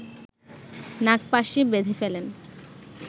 নাগপাশে বেধে ফেলেন